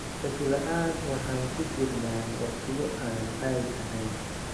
Shaki la'aan waxaan ku jirnaa waqtiyo aan caadi ahayn.